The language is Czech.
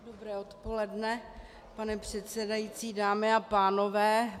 Dobré odpoledne, pane předsedající, dámy a pánové.